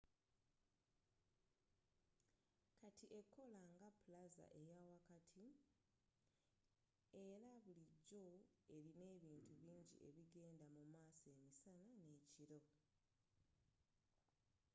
kati ekola nga plaza eyawakati era bulijjo erina ebintu bingi ebigenda mumaaso emisana n'ekiro